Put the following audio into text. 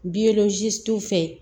fɛ